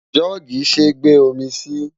Jọ́ọ̀gì ṣé gbe omi sí.